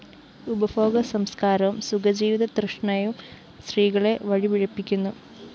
ഉപഭോഗസംസ്‌കാരവും സുഖജീവിത തൃഷ്ണയും സ്ത്രീകളെ വഴിപിഴപ്പിക്കുന്നു